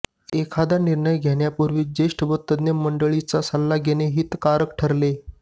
एखादा निर्णय घेण्यापूर्वी ज्येष्ठ व तज्ज्ञ मंडळींचा सल्ला घेणे हितकारक ठरेल